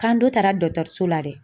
K'an dun taara dɔtɔrso la dɛ.